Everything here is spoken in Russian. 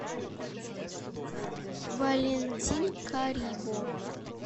валентин карибов